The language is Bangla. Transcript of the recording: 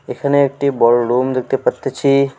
এখানে একটি বড়ো রুম দেখতে পারতেছি।